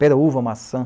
Pêra-uva-maçã.